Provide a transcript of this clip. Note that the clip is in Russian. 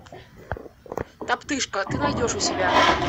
топтыжка ты найдешь у себя